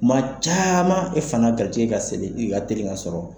Maa caman e fana garijɛgɛ ka sirili ka telin ka sɔrɔ